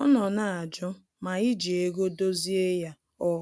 Ọ nọ na-ajụ ma iji ego dozie ya ọ